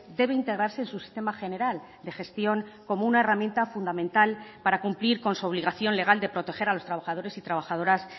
debe integrarse en su sistema general de gestión como una herramienta fundamental para cumplir con su obligación legal de proteger a los trabajadores y trabajadoras